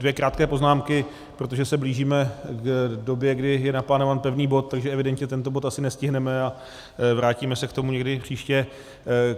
Dvě krátké poznámky, protože se blížíme k době, kdy je naplánován pevný bod, takže evidentně tento bod asi nestihneme a vrátíme se k tomu někdy příště.